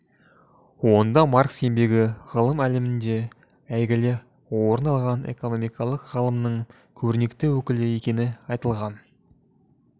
онда маркс еңбегі ғылым әлемінде әйгілі орын алған экокномикалық ғылымның көрнекті өкілі екені айтылған